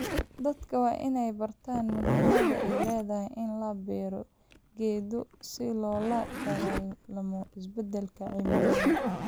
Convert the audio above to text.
Dadka waa inay bartaan muhiimadda ay leedahay in la beero geedo si loola dagaallamo isbeddelka cimilada.